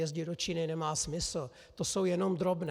Jezdit do Číny nemá smysl, to jsou jenom drobné.